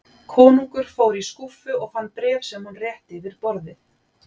Konungur fór í skúffu og fann bréf sem hann rétti yfir borðið.